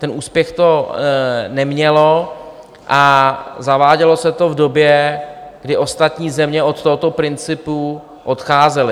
Ten úspěch to nemělo a zavádělo se to v době, kdy ostatní země od tohoto principu odcházely.